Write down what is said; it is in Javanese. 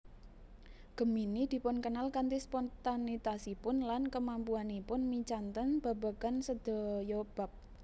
Gemini dipunkenal kanthi spontanitasipun lan kemampuanipun micanten babagan sedaya bab